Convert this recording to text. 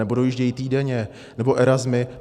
Nebo dojíždějí týdenně, nebo Erasmy.